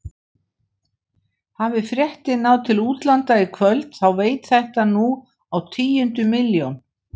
Hafi fréttin náð til útlanda í kvöld þá veit þetta nú á tíundu milljón.